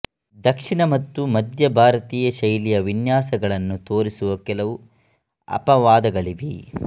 ದಕ್ಷಿಣ ಮತ್ತು ಮಧ್ಯ ಭಾರತೀಯ ಶೈಲಿಯ ವಿನ್ಯಾಸಗಳನ್ನು ತೋರಿಸುವ ಕೆಲವು ಅಪವಾದಗಳಿವೆ